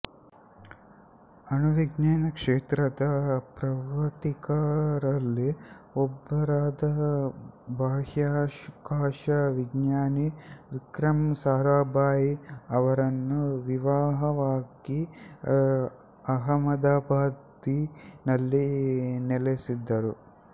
ಅಣುವಿಜ್ಞಾನ ಕ್ಷೇತ್ರದ ಪ್ರವರ್ತಕರಲ್ಲಿ ಒಬ್ಬರಾದ ಬಾಹ್ಯಾಕಾಶ ವಿಜ್ಞಾನಿ ವಿಕ್ರಮ್ ಸಾರಾಭಾಯಿ ಅವರನ್ನು ವಿವಾಹವಾಗಿ ಅಹಮದಾಬಾದಿ ನಲ್ಲಿ ನೆಲೆಸಿದರು